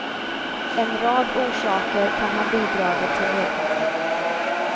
En rad orsaker kan ha bidragit till nedgången.